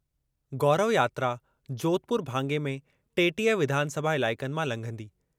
गौरव यात्रा जोधपुर भाङे में टेटीह विधानसभा इलाइक़नि मां लंघंदी।